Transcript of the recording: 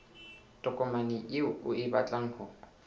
tokomane eo o batlang ho